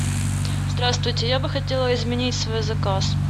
здравствуйте я бы хотела изменить свой заказ